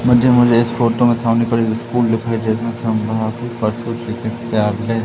मुझे मुझे इस फोटो मे सामने तरफ एक स्कूल दिखाई दे रहा है।